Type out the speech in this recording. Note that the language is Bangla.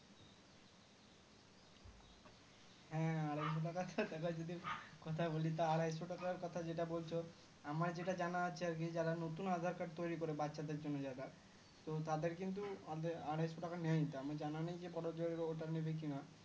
হা আড়াইশো টাকার যদি কথা বলি তো আড়াইশো টাকার কথা যেটা বলছো আমার যেটা জানা আছে আর কি যারা নতুন aadhar card তৈরি করে বাঁচাদের জন্য যারা তো তাদের কিন্তু আড়াইশো টাকা নেয় আমার জানা নেই যে ওটা নেবে কিনা